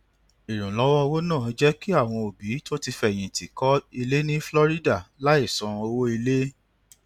ìrànlọwọ owó náà jé kí àwọn òbí tó ti fẹyìntì kó ilé ní florida láì san owó ilé